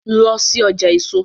Lọ sí ọjà èso!